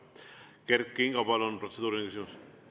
Kert Kingo, palun, protseduuriline küsimus!